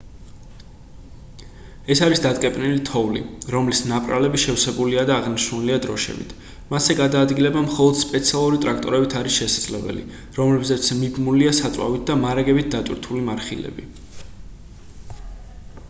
ეს არის დატკეპნილი თოვლი რომლის ნაპრალები შევსებულია და აღნიშნულია დროშებით მასზე გადაადგილება მხოლოდ სპეციალური ტრაქტორებით არის შესაძლებელი რომლებზეც მიბმულია საწვავით და მარაგებით დატვირთული მარხილები